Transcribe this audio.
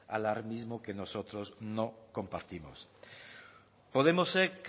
alarmismo que nosotros no compartimos podemosek